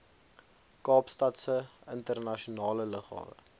kaapstadse internasionale lughawe